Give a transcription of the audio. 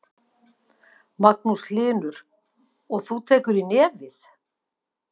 Magnús Hlynur: Og þú tekur í nefið?